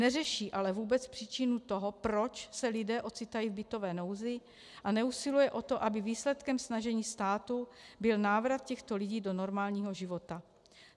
Neřeší ale vůbec příčinu toho, proč se lidé ocitají v bytové nouzi, a neusiluje o to, aby výsledkem snažení státu byl návrat těchto lidí do normálního života.